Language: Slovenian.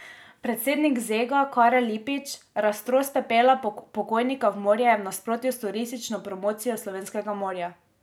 Predsednik Zega Karel Lipič: 'Raztros pepela pokojnika v morje je v nasprotju s turistično promocijo slovenskega morja.